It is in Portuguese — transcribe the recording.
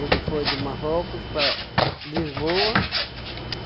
Ele foi de Marrocos para Lisboa.